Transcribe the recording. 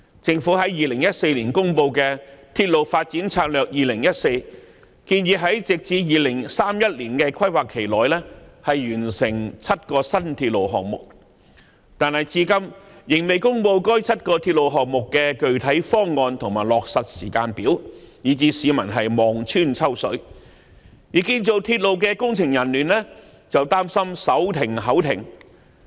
政府在2014年公布的《鐵路發展策略2014》建議在直至2031年的規劃期內完成7個新鐵路項目，但至今仍未公布該7個鐵路項目的具體方案和落實時間表，以致市民望穿秋水，而建造鐵路的工程人員則擔心"手停口停"。